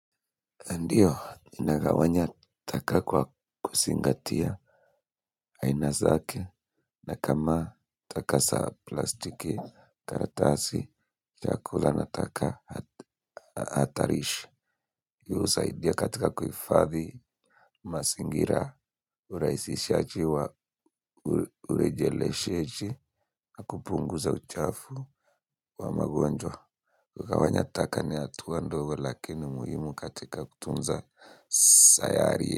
Ndiyo, nina gawanya taka kwa kuzingatia aina zake na kama taka za plastiki, karatasi, chakula na taka atarish. Husaidia katika kuhifadhi, mazingira, hurahisishaji wa urejele shechi, akupunguza uchafu wa maguwanjo. Ku gawanya taka ni hatua ndogo lakini muhimu katika kutunza sayari.